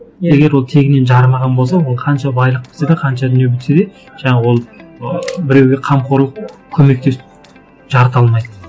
егер ол тегінен жарымаған болса ол қанша байлық бітсе де қанша дүние бітсе де жаңағы ол ыыы біреуге қамқорлық көмектесіп жарыта алмайды